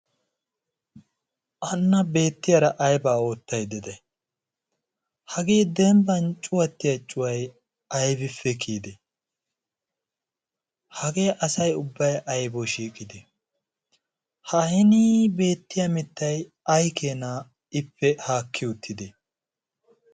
anna beettiyaara aybaa oottai dede hagee dembban cuwattiya cuway aybippe kiyide? hagee asai ubbay aybaw shiiqide ha hinii beettiya mittai ai keenaa ippe haakki uttide?